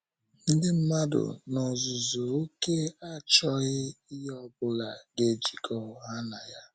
Ndị mmadụ n’ozuzu oké achọghị ihe ọ bụla ga - ejikọ ha na ya.